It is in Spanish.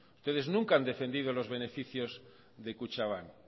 entonces nunca han defendido los beneficios de kutxabank